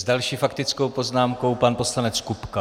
S další faktickou poznámkou pan poslanec Kupka.